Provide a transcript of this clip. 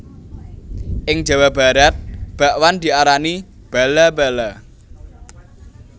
Ing Jawa Barat bakwan diarani bala bala